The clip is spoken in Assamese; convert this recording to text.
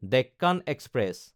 ডেক্কান এক্সপ্ৰেছ